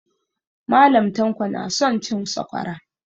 Mallam tanko na son cin sakwara